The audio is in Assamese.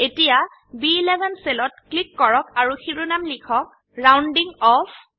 এতিয়া ব11 সেলত ক্লিক কৰক আৰু শিৰোনাম লিখক ৰাউনডিং অফ